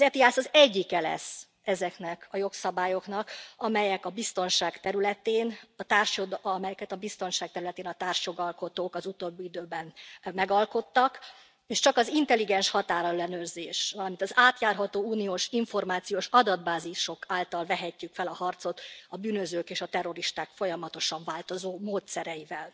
Az ETIAS az egyike lesz ezeknek a jogszabályoknak, amelyeket a biztonság területén a társjogalkotók az utóbbi időben megalkottak, és csak az intelligens határellenőrzés, valamint az átjárható uniós információs adatbázisok által vehetjük fel a harcot a bűnözők és a terroristák folyamatosan változó módszereivel.